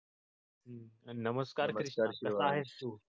नमस्कार कृष्णा कसं आहेस तू?